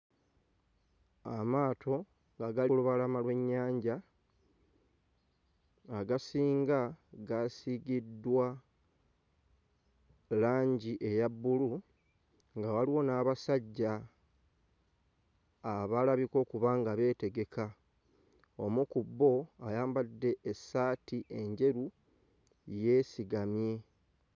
Amaato nga gali lubalama lw'ennyanja agasinga gaasiigiddwa langi eya bbulu nga waliwo n'abasajja abalabika okuba nga beetegeka omu ku bo ayambadde essaati enjeru yeesigamye.